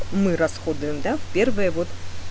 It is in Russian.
мы расходуем да первое вот